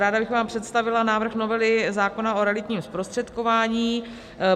Ráda bych vám představila návrh novely zákona o realitním zprostředkování.